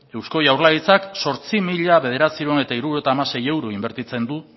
eusko jaurlaritzak zortzi mila bederatziehun eta hirurogeita hamasei euro inbertitzen du